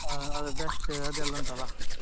ಹ ಅದರ dust ಅದೆಲ್ಲ ಉಂಟಲ್ಲಾ?